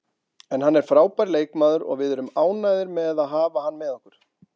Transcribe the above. En hann er frábær leikmaður og við erum ánægðir með að hafa hann með okkur.